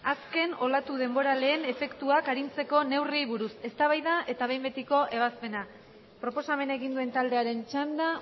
azken olatu denboraleen efektuak arintzeko neurriei buruz eztabaida eta behin betiko ebazpena proposamena egin duen taldearen txanda